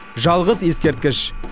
жалғыз ескерткіш